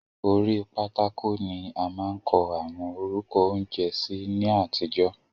Orí pátákò ni a máa ń kọ àwọn orúkọ oúnjẹ sí ní àtijọ́.